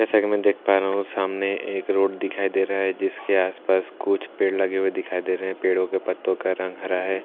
जैसा कि मैं देख पा रहा हूं सामने एक रोड दिखाई दे रहा है जिसके आसपास कुछ पेड़ लगे हुए दिखाई दे रहे हैं पेड़ों के पत्तों का रंग हरा है पास --